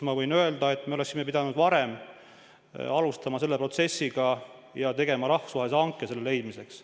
Ma võin öelda, et me oleksime pidanud varem selle protsessiga alustama ja tegema rahvusvahelise hanke selle leidmiseks.